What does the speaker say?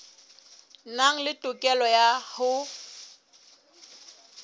nang le tokelo ya ho